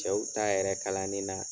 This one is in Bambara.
Cɛw ta yɛrɛ kalanni na.